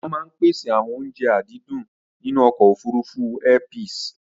wọ́n maá ń pèsè àwọn oúnje àdídùn nínú ọkọ̀ òfurufú Airpeace